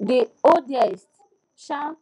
the oldest um